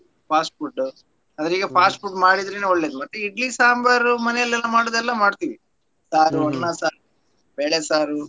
Fast food ಅಂದ್ರೆ ಈಗ fast food ಮಾಡಿದ್ರೇನೆ ಒಳ್ಳೇದು ಮತ್ತೆ idli sambar ಮನೇಲೆಲ್ಲ ಮಾಡೋದೆಲ್ಲ ಮಾಡ್ತೀವಿ ಅನ್ನ ಸಾರು, ಬೇಳೆ ಸಾರು.